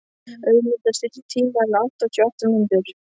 Ögmunda, stilltu tímamælinn á áttatíu og átta mínútur.